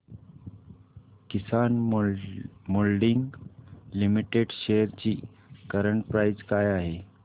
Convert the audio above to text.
किसान moulding limited shares ची current price काय आहे